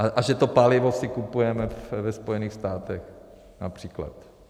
A že to palivo si kupujeme ve Spojených státech, například.